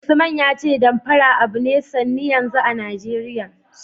Usman ya ce Damfara abu ne sanne yanzu a Najeriya.